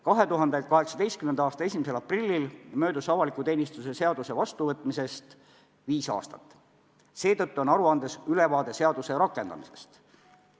2018. aasta 1. aprillil möödus avaliku teenistuse seaduse vastuvõtmisest viis aastat, seetõttu on aruandes ülevaade seaduse rakendamisest.